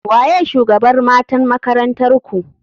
Waye shugabr matan makarantarku?